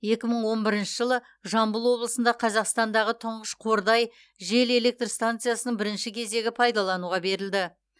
екі мың он бірінші жылы жамбыл облысында қазақстандағы тұңғыш қордай жел электр станциясының бірінші кезегі пайдалануға берілді